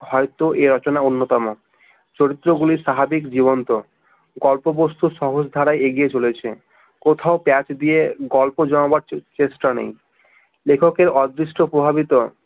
হয়তো এই রচনা অন্যতম চরিত্রগুলো স্বাভাবিক জীবন্ত গল্পবস্তু সহজধারায় এগিয়ে চলেছে কোথাও পেচ দিয়ে গল্প জমাবার চেষ্টা নেই লেখকের অদৃষ্ট প্রভাবিত